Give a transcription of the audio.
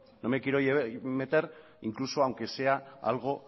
no me quiero meter incluso aunque sea algo